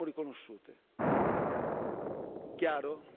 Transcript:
Non le abbiamo riconosciute. Chiaro?